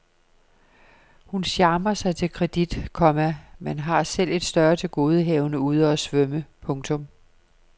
Hun charmer sig til kredit, komma men har selv et større tilgodehavende ude og svømme. punktum